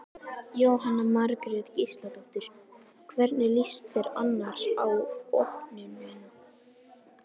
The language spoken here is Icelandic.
Jóhanna Margrét Gísladóttir: Hvernig líst þér annars á opnunina?